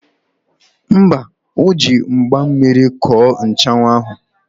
Mba, o ji mgba mmiri kọọ nchanwụ ahụ.